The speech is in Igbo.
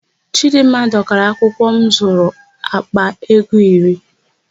Chịdịmma dọkara akwụkwọ m zụrụ àkpà ego iri.